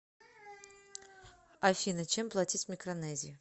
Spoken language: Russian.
афина чем платить в микронезии